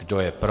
Kdo je pro?